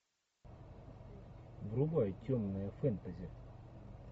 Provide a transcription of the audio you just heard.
врубай темное фэнтези